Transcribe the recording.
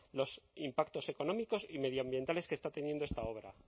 los impactos económicos y medioambientales que está teniendo esta obra